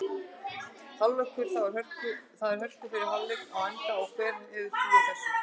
Hálfleikur: Þá er hörku fyrri hálfleikur á enda og hver hefði trúað þessu??